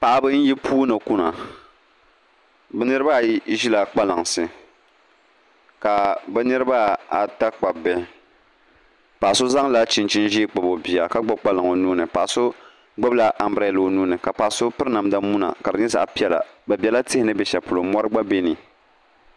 Paɣaba n yi puuni kuna bi niraba ayi ʒila kpalansi paɣa so zaŋla chinchin ʒiɛ kpabi o bia ka gbubi kpalaŋa o nuuni paɣa so gbubila anbirɛla o nuuni ka paɣa so piri namdi muna ka di nyɛ zaɣ piɛla bi biɛla tihi ni bɛ shɛli polo mori gba bɛ ni